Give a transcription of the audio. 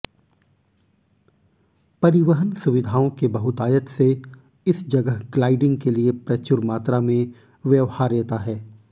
परिवहन सुविधाओं के बहुतायत से इस जगह ग्लाइडिंग के लिए प्रचुर मात्रा में व्यवहार्यता है